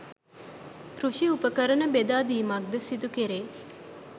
කෘෂි උපකරණ බෙදා දීමක් ද සිදු කෙරේ.